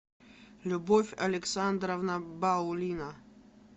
любовь александровна баулина